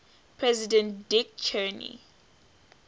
president dick cheney